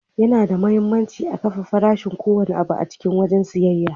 Yana da muhimmanci a kafe farashin ko wanne abu a cikin wajen siyayya.